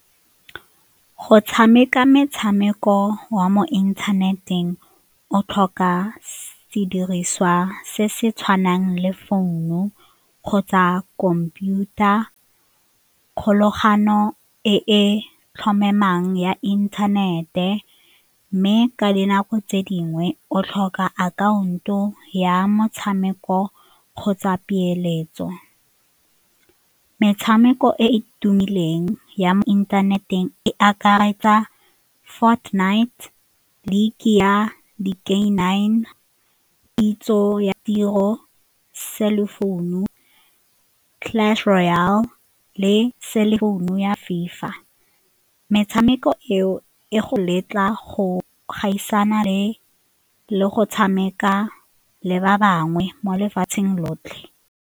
Go tshameka metshameko wa mo inthaneteng o tlhoka sediriswa se se tshwanang le founu kgotsa khomputara, kgolagano e e tlhomamang ya inthanete mme ka dinako tse dingwe o tlhoka akhaonto ya motshameko kgotsa peeletso. Metshameko e e tumileng ya mo inthaneteng e akaretsa Fortnite, League ya di-K nine, kitso ya tiro, cell phone-u, Clash Royale le cell phone-u ya FIFA. Metshameko eo e go letla go gaisana le le go tshameka le ba bangwe mo lefatsheng lotlhe.